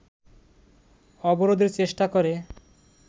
অবরোধের চেষ্টা করে